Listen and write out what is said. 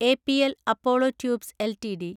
APL Apollo tubes LTD